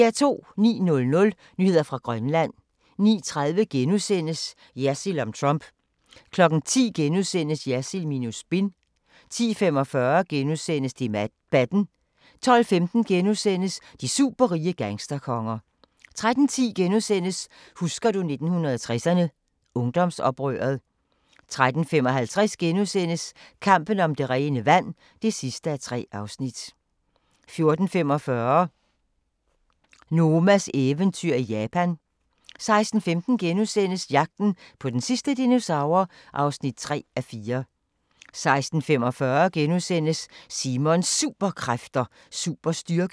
09:00: Nyheder fra Grønland 09:30: Jersild om Trump * 10:00: Jersild minus spin * 10:45: Debatten * 12:15: De superrige gangsterkonger * 13:10: Husker du 1960'erne – Ungdomsoprøret * 13:55: Kampen om det rene vand (3:3)* 14:45: Nomas eventyr i Japan 16:15: Jagten på den sidste dinosaur (3:4)* 16:45: Simons Superkræfter: Superstyrke *